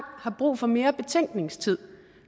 har brug for mere betænkningstid